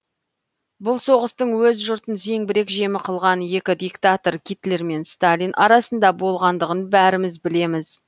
бұл соғыстың өз жұртын зеңбірек жемі қылған екі диктатор гитлер мен сталин арасында болғандығын бәріміз білеміз